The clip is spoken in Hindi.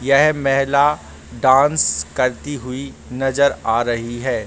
यह महिला डांस करती हुई नजर आ रही है।